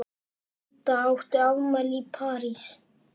Didda átti afmæli í París.